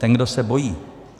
Ten, kdo se bojí.